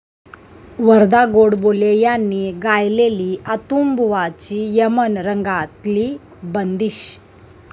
वरदा गोडबोले यांनी गायलेली अंतुबुवांची यमन रंगातली बंदिश